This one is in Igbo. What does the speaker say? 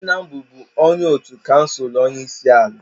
nna m bụbu onye otu kansụl onye isi ala